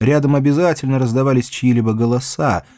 рядом обязательно раздавались чьи-либо голоса